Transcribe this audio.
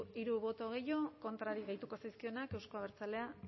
hiru boto gehiago kontrarik gehituko zaizkionak euzko abertzaleak